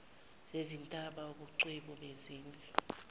zezintaba ubungcweti bezezindlu